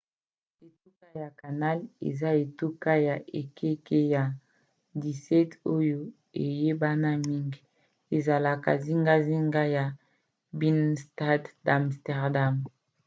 etuka ya canal na néerlandais: grachtengordel eza etuka ya ekeke ya 17 oyo eyebana mingi ezalaka zingazinga ya binnenstad d'amsterdam